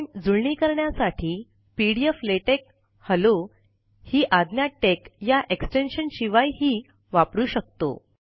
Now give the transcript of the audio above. आपण जुळणी करण्यासाठी P D F LaTeX hello ही आज्ञा टेक या एक्स्टेंशन शिवाय ही वापरु शकतो